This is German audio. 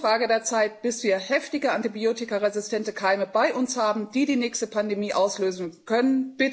Es ist nur eine Frage der Zeit, bis wir heftige antibiotikaresistente Keime bei uns haben, die die nächste Pandemie auslösen können.